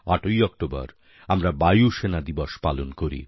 ৮ই October আমরা বায়ুসেনা দিবস পালন করি